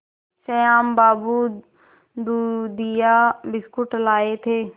श्याम बाबू दूधिया बिस्कुट लाए थे